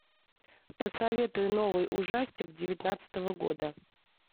посоветуй новый ужастик девятнадцатого года